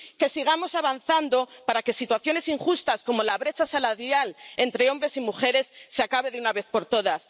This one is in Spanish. que sigamos avanzando para que situaciones injustas como la brecha salarial entre hombres y mujeres se acabe de una vez por todas.